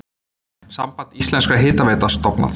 Samband íslenskra hitaveitna stofnað.